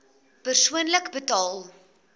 persoonlik betaal